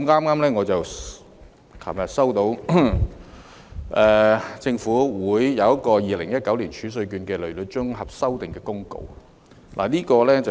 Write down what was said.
我昨天剛接獲政府發出的《2019年儲稅券公告》，內容是甚麼呢？